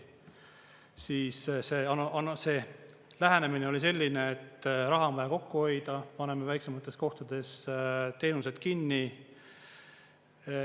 Siis see lähenemine oli selline, et raha on vaja kokku hoida, paneme väiksemates kohtades teenused kinni.